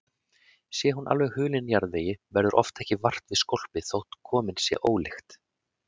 Sé hún alveg hulin jarðvegi verður oft ekki vart við skólpið þótt komin sé ólykt.